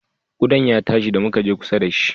Ƙudan ya tashi da muka je kusa da shi